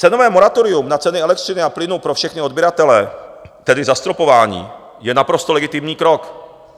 Cenové moratorium na ceny elektřiny a plynu pro všechny odběratele, tedy zastropování, je naprosto legitimní krok.